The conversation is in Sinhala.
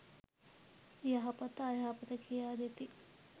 යහපත අයහපත කියා දෙති.